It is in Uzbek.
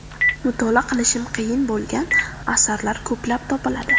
Mutolaa qilishim qiyin bo‘lgan asarlar ko‘plab topiladi.